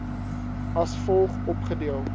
as volg opgedeel